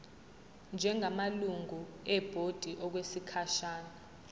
njengamalungu ebhodi okwesikhashana